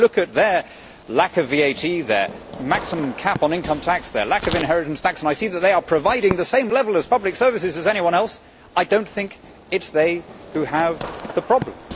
Now when I look at their lack of VAT, their maximum cap on income tax, their lack of inheritance tax and I see that they are providing the same level of public services as anyone else, I do not think it is they who have the problem.